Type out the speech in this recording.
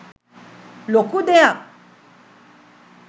ලොකු දෙයක්